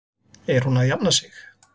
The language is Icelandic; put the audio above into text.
Er hún að jafna sig?